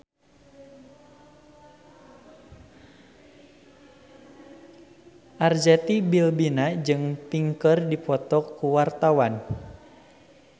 Arzetti Bilbina jeung Pink keur dipoto ku wartawan